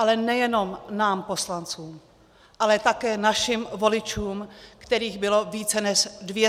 Ale nejenom nám poslancům, ale také našim voličům, kterých bylo více než 260 tisíc.